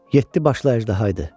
Yeddi başlı əjdahaydı.